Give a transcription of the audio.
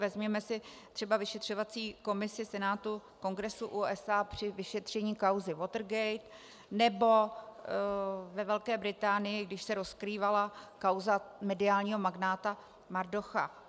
Vezměme si třeba vyšetřovací komisi Senátu Kongresu USA při vyšetření kauzy Watergate, nebo ve Velké Británii, když se rozkrývala kauza mediálního magnáta Murdocha.